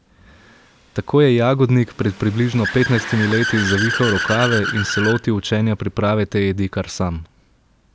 Tako je Jagodnik pred približno petnajstimi leti zavihal rokave in se lotil učenja priprave te jedi kar sam.